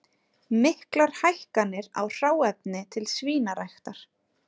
Miklar hækkanir á hráefni til svínaræktar